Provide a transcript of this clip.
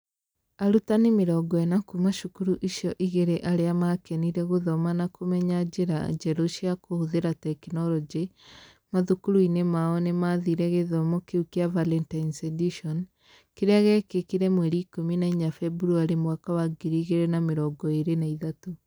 Arutani 40 kuuma cukuru icio igĩrĩ arĩa maakenire gũthoma na kũmenya njĩra njerũ cia kũhũthĩra tekinoronjĩ mathukuru-inĩ mao nĩ maathire gĩthomo kĩu kĩa Valentine's Edition, kĩrĩa gĩekĩkire 14 Feb 2023.